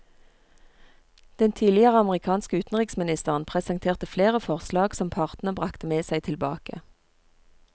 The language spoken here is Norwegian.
Den tidligere amerikanske utenriksministeren presenterte flere forslag som partene bragte med seg tilbake.